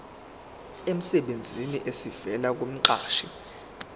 emsebenzini esivela kumqashi